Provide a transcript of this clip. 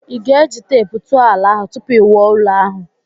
Ị ga-eji teepu tụọ ala ahụ tupu i wuo ụlọ ahụ?